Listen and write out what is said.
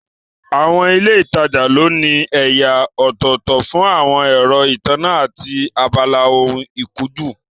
Àwọn ilé ìtajà ló ní ẹ̀yà ọ̀tọ̀ọ̀tọ̀ fún àwọn ẹ̀rọ ìtànná, àti abala ohun ìkunjú